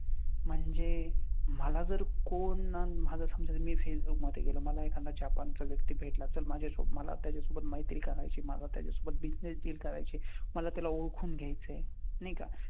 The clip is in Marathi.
म्हणजे मला जर कोण ना माझं समजा जर मी जर फेसबुक मध्ये गेलं. मला एखादा जपानचा व्यक्ती भेटला तर माझ्यासो मला त्याच्या सोबत मैत्री करायची आहे मला त्याच्या सोबत business deal करायची आहे, मला जर त्याला ओळखून घ्यायचंय नाही का?